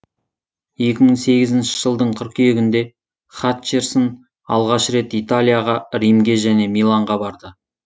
екі мың сегізінші жылдың қыркүйегінде хатчерсон алғаш рет италияға римге және миланға барды